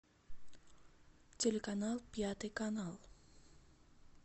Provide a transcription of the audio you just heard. телеканал пятый канал